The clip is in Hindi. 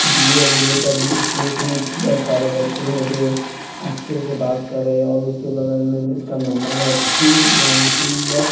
डी_ए बी_ए पब्लिक स्कूल इसमें दस सारे बच्चे हैं जो अच्छे से बात करें और उसके बगल में इसका नंबर है थ्री वन टू वन --